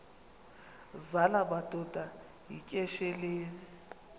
zala madoda yityesheleni